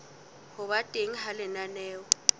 ho ba teng ha lenaneo